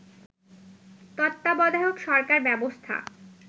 তত্ত্বাবধায়ক সরকার ব্যবস্থা